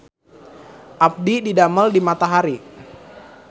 Abdi didamel di Matahari